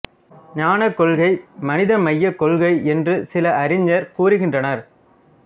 ஞானக் கொள்கை மனித மையக் கொள்கை என்று சில அறிஞர் கூறுகின்றனர்